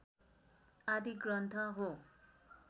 आदि ग्रन्थ हो।